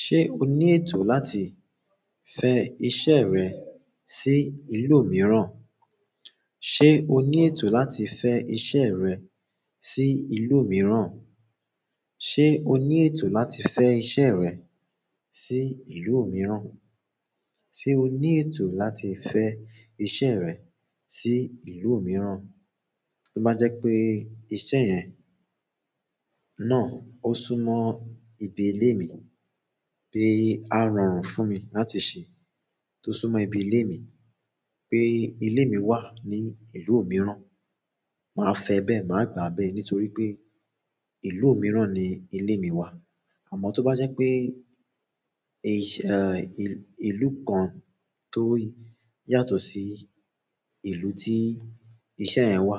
Ṣé o ní ètò láti fẹ iṣẹ́ rẹ sí ìlú mìíràn? Ṣé o ní ètò láti fẹ iṣẹ́ rẹ sí ìlú mìíràn? Ṣé o ní ètò láti fẹ iṣẹ́ rẹ sí ìlú mìíràn? Se oni ètò láti fe ìṣeré si ìlú miran? Tó bá jẹ́ pé iṣẹ́ yẹn náà ó súnmọ́ ibi ilé mi pé a rọrùn fún mi láti ṣe, tó súnmọ́ ibi ilé mi pé ilé mi wà ní ìlú mìíràn, màá fẹ bẹ́ẹ̀, màá gbà bẹ́ẹ̀ nítorí pé ìlú mìíràn ni ilé mi wà. Àmọ́ tó bá jẹ́ pé iṣẹ́ ìlú kan tó yàtọ̀ sí ìlú tí iṣẹ́ yẹn wà